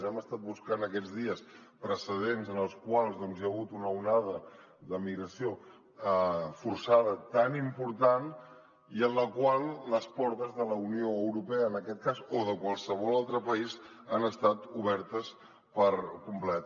hem estat buscant aquests dies precedents en els quals hi ha hagut una onada de migració forçada tan important i en la qual les portes de la unió europea en aquest cas o de qualsevol altre país han estat obertes per complet